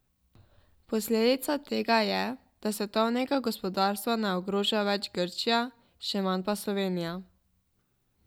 Posledica tega je, da svetovnega gospodarstva ne ogroža več Grčija, še manj pa Slovenija.